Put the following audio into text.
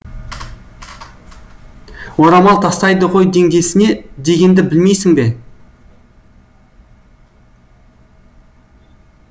орамал тастайды ғой теңдесіне дегенді білмейсің бе